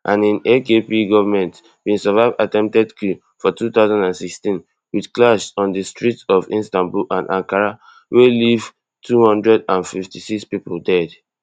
and im akp govment bin survive attempted coup for two thousand and sixteen wit clash on di streets of istanbul and ankara wey leave two hundred and fifty-six pipo dead